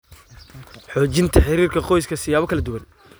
Xoojinta Xiriirka Qoyska siyaabo kala duwan.